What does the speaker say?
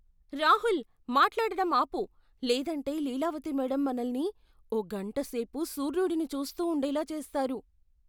రాహుల్! మాట్లాడటం ఆపు, లేదంటే లీలావతి మేడమ్ మనల్ని ఓ గంట సేపు సూర్యుడిని చూస్తూ ఉండేలా చేస్తారు.